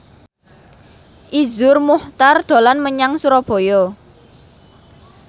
Iszur Muchtar dolan menyang Surabaya